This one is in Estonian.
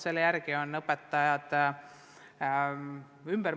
Selle järgi mõtestavad õpetajad oma tööd ümber.